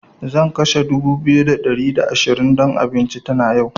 Zan kashe dubu biyu da ɗari da ashirin don abincin tana yau.